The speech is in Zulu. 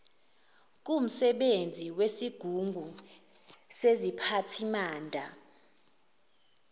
kumsebenzi wesigungu seziphathimanda